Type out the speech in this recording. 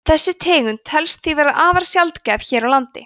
þessi tegund telst því vera afar sjaldgæf hér á landi